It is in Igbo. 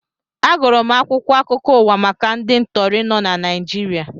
Agụrụ m akwụkwọ akụkọ ụwa maka ndị ntọri nọ na Naịjirịa